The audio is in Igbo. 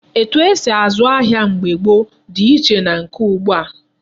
Etu esi azụ ego mgbe gboo dị iche na nke ugbu a.